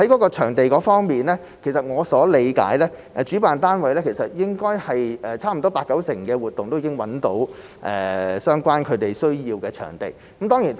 在場地方面，據我理解，主辦單位其實差不多八九成的活動均已經找到所需的場地。